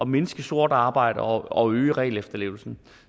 mindske sort arbejde og øge regelefterlevelsen